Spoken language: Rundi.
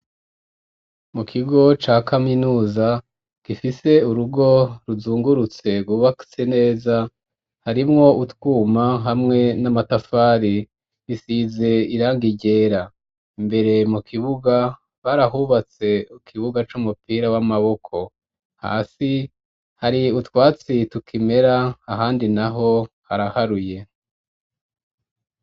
Mu kigo ca kaminuza gifise urugo ruzungurutse rwubatse neza, harimwo utwuma hamwe n'amatafari bisize irangi ryera. Imbere mu kibuga barahubatse ikibuga c'umupira w'amaboko, hasi hari utwatsi tukimera ahandi naho haraharuye.